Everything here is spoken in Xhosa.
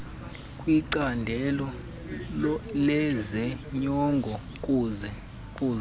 kwicandelo lezonyango kuza